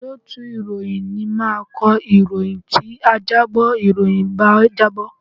Olóòtú ìròyìn ni máa kọ ìròyìn tí ajábọ̀ ìròyìn bá jábọ̀